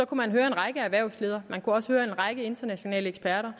kunne høre en række erhvervsledere og en række internationale eksperter